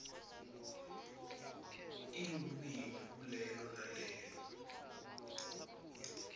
elulwimi kulelo nalelo